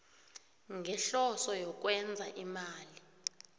ngehloso yokwenza imali